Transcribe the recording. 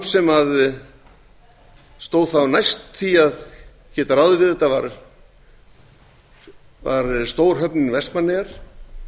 sem stóð þá næst því að geta ráðið við þetta var stórhöfn vestmannaeyjar